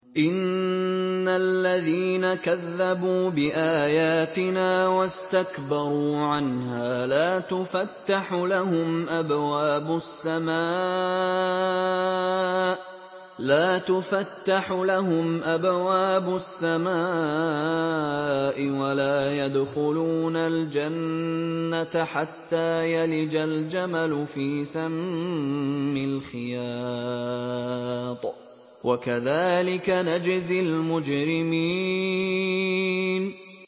إِنَّ الَّذِينَ كَذَّبُوا بِآيَاتِنَا وَاسْتَكْبَرُوا عَنْهَا لَا تُفَتَّحُ لَهُمْ أَبْوَابُ السَّمَاءِ وَلَا يَدْخُلُونَ الْجَنَّةَ حَتَّىٰ يَلِجَ الْجَمَلُ فِي سَمِّ الْخِيَاطِ ۚ وَكَذَٰلِكَ نَجْزِي الْمُجْرِمِينَ